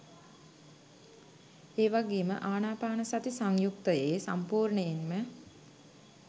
ඒ වගේම ආනාපානසති සංයුත්තයේ සම්පූර්ණයෙන්ම